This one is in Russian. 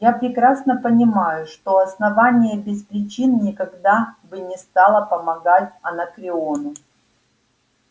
я прекрасно понимаю что основание без причин никогда бы не стало помогать анакреону